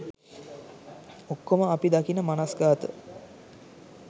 ඔක්කොම අපි දකින මනස්ගාත